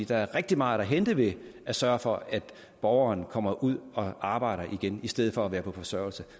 der er rigtig meget at hente ved at sørge for at borgeren kommer ud og arbejder igen i stedet for at være på forsørgelse